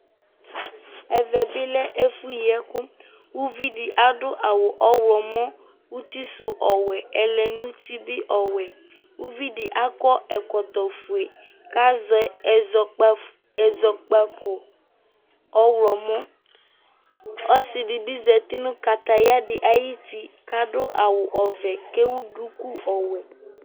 ɛvɛ bi lẽ efũ yikũ uvidi adũ awũ ɔylomɔ utisu ɔwɛ ɛlɛnuti bi ɔwɛ ũvidi aƙɔ ẽkɔtɔ fué kazɛ ɛzɔkpa ƙõ ɔylɔmɔ ɔssi dibï zatĩ nũ kataya dï ayũti kadʊ awʊ ɔvɛ kewu ɗũkũ ɔwɛ